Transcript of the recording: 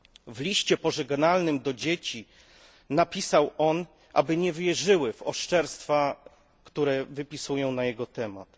W liście pożegnalnym do dzieci napisał, aby nie wierzyły w oszczerstwa, które wypisują na jego temat.